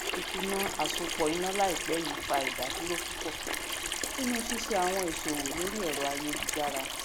ìkùnà àsopọ ìnà láìpẹ yìí fa ìdádúró púpọ nínú ṣíṣe àwọn ìṣòwò lórí ẹrọ ayélujára